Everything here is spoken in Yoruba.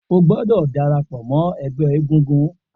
O gbọdọ darapọ mọ ẹgbẹ egungun